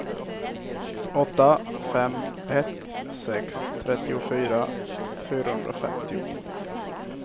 åtta fem ett sex trettiofyra fyrahundrafemtio